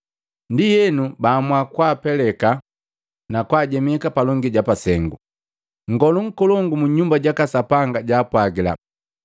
Ndienu baamua kwaapeleka, na kwaajemeka palongi ja pasengu. Nngolu nkolongu mu Nyumba jaka Sapanga jaapwagila,